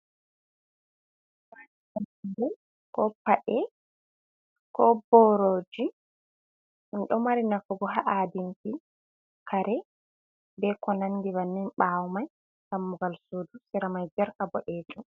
Ko paɗe, ko booroji, ɗum ɗo mari nafu bo, haa haadinki kare be ko nanndi bannin. Ɓaawo may dammugal suudu, sera may jerka boɗeejum.